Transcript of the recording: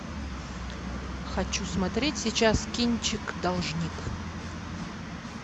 хочу смотреть сейчас кинчик должник